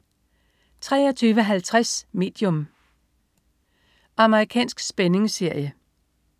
23.50 Medium. Amerikansk spændingsserie